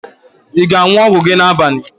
Ị ga-aṅụ ọgwụ gị n'abalị?